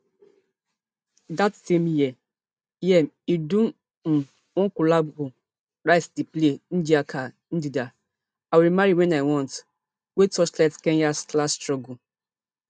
dat same year year im do um one collabo write di play ngaahika ndeenda i will marry when i want wey torchlight kenya class struggle